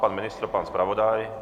Pan ministr, pan zpravodaj?